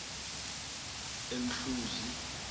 emhluzi